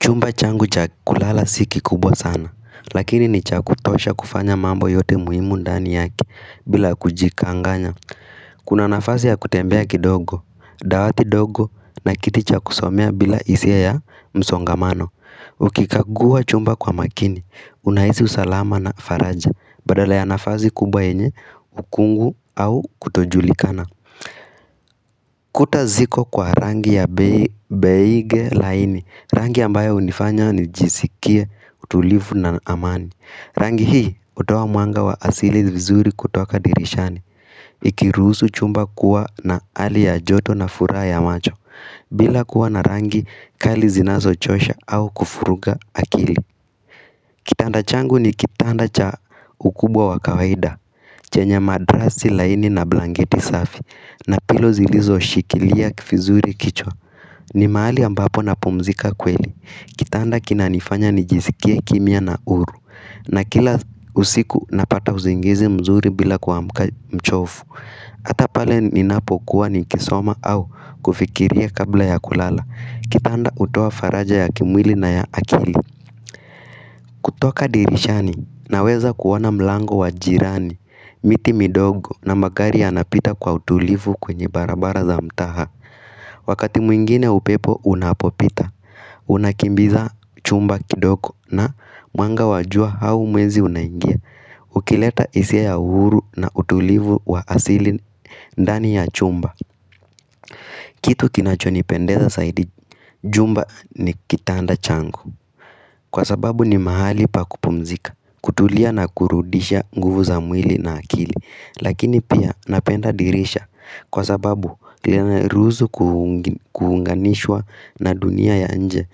Chumba changu cha kulala si kikubwa sana, lakini ni cha kutosha kufanya mambo yote muhimu ndani yake bila kujikanganya. Kuna nafasi ya kutembea kidogo, dawati ndogo na kiti cha kusomea bila isi ya msongamano. Ukikagua chumba kwa makini, unahisi usalama na faraja, badala ya nafasi kubwa yenye ukungu au kutojulikana. Kuta ziko kwa rangi ya beige laini, rangi ambayo unifanya nijisikia utulifu na amani. Rangi hii hutoa mwanga wa asili vizuri kutoka dirishani Ikiruhusu chumba kuwa na hali ya joto na furaha ya macho bila kuwa na rangi kali zinazo chosha au kufuruga akili kitaanda changu ni kitanda cha ukubwa wa kawaida Chenya madrasi laini na blanketi safi na pilo zilizoshikilia kivizuri kichwa ni mahali ambapo napomzika kweli Kitanda kina nifanya nijisikie kimya na huru na kila usiku napata usingizi mzuri bila kuamka mchovu Hata pale ninapokuwa nikisoma au kufikiria kabla ya kulala Kitanda hutoa faraja ya kimwili na ya akili kutoka dirishani naweza kuona mlango wa jirani miti mindogo na magari ya napita kwa utulivu kwenye barabara za mtaa wakati mwingine upepo unapopita unakimbiza chumba kindogo na mwanga wa jua au mwezi unaingia ukileta hisia ya uhuru na utulivu wa asili ndani ya chumba kitu kinachonipendeza saidi jumba ni kitanda changu kwa sababu ni mahali pa kupumzika kutulia na kurudisha nguvu za mwili na akili Lakini pia napenda dirisha kwa sababu lina ni ruhusu kuunganishwa na dunia ya nje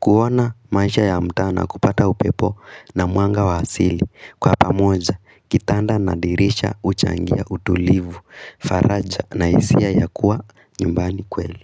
kuona maisha ya mtaa na kupata upepo na mwanga wa asili Kwa pamoja kitanda na dirisha huchangia utulivu faraja na hisia ya kuwa nyumbani kweli.